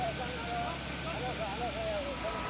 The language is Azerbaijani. Hayyalla ya uşaqlar, hayyalla hayyalla ya uşaqlar.